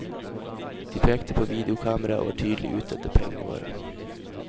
De pekte på videokameraet og var tydelig ute etter pengene våre.